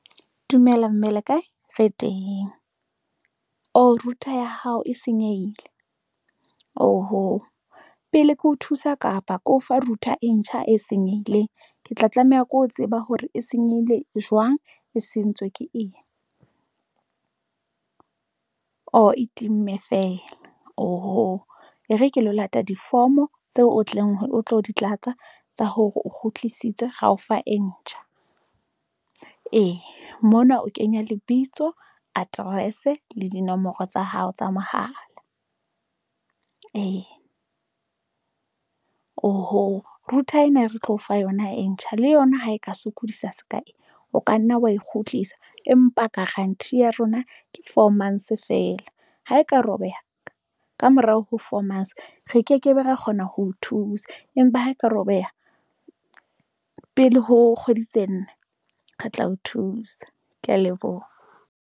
Dumela mme le kae re teng router ya hao e senyehile oho pele ke ho thusa kapa ke o fa router e ntjha e senyehileng. Ke tla tlameha ke ho tseba hore e senyehile jwang. E sentswe ke eng e timme feela, oho e re ke lo lata diforomo tseo o tlang o tlo di tlatsa tsa hore o kgutlisitswe ro o fa e ntjha Ee mona o kenya lebitso Address le dinomoro tsa hao tsa mohala Ee, oho router ena e re tlo o fa yona e ntjha le yona ha e ka sokodisa se ka eng? O ka nna wa e kgutlisa empa guarantee ya rona ke four months feela ha e ka robeha kamorao ho formations, Re kekebe ra kgona ho thusa, empa ha e ka robeha pele ho kgwedi tse nne, re tla o thusa. Ke ya leboha.